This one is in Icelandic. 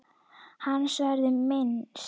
Hans verður minnst.